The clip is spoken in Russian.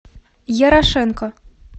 ярошенко